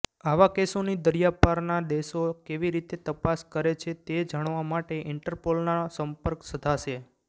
આવા કેસોની દરિયાપારના દેશો કેવી રીતે તપાસ કરે છે તે જાણવા માટે ઈન્ટરપોલનોસંપર્ક સધાશે